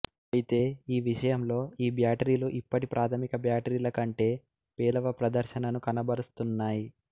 అయితే ఈ విషయంలో ఈ బ్యాటరీలు ఇప్పటికీ ప్రాథమిక బ్యాటరీల కంటే పేలవ ప్రదర్శనను కనబరుస్తున్నాయి